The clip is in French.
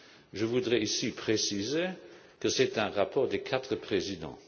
Je voudrais préciser ici que c'est un rapport des quatre présidents.